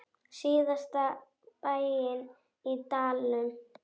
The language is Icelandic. Síðasta bæinn í dalnum.